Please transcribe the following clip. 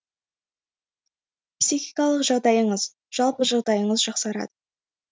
психикалық жағдайыңыз жалпы жағдайыңыз жақсарады